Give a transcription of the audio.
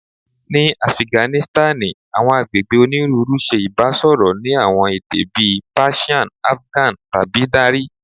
Ni Afiganisitani, awọn agbegbe oniruuru ṣe ibasọrọ ni awọn ede bii Persian Afgan tabi Dari